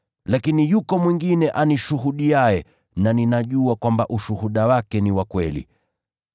Lakini yuko mwingine anishuhudiaye na ninajua kwamba ushuhuda wake ni wa kweli.